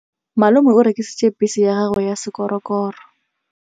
Malome o rekisitse bese ya gagwe ya sekgorokgoro.